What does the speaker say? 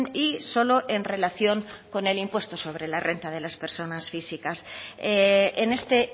y solo en relación con el impuesto sobre la renta de las persona físicas en este